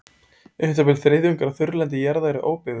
Um það bil þriðjungur af þurrlendi jarðar er óbyggður.